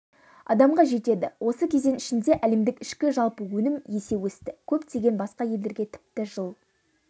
адамға жетеді осы кезең ішінде әлемдік ішкі жалпы өнім есе өсті көптеген басқа елдерге тіпті жыл